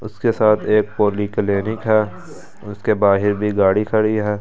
उसके साथ एक पॉलीक्लीनिक है उसके बाहर भी गाड़ी खड़ी है।